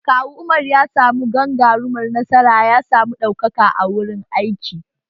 Kawu Umar ya samu gagarumar nasara ya samu ɗaukaka a wurin aiki